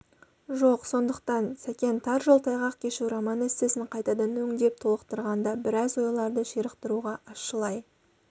жоқ сондықтан сәкен тар жол тайғақ кешу роман-эссесін қайтадан өңдеп толықтырғанда біраз ойларды ширықтыруға ащылай